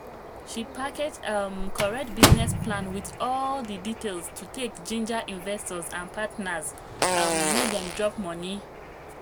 she package um correct business plan with all the details to take ginger investors and partners um make dem drop money.